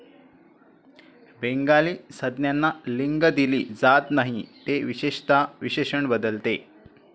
Bengali संज्ञांना लिंग दिली जात नाही, ते विशेषतः विशेषण बदलते.